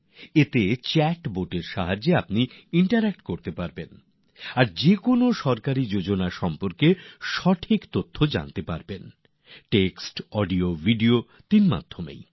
এখানে চ্যাট বোটএর মাধ্যমে আপনি মতামত বিনিময় করতে পারবেন আর যে কোনও সরকারি প্রকল্প সম্পর্কে জ্ঞাতব্য তথ্য পেতে পারেন তাও টেক্সট ভিডিও আর অডিওতিন ভাবেই